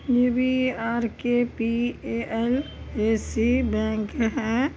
ये भी आरकेपीएअलएसी बैंक है।